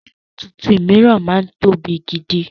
Ọmọ tuntun miran máa ń tóbi gidi